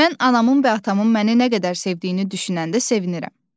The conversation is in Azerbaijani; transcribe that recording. Mən anamın və atamın məni nə qədər sevdiyini düşünəndə sevinirəm.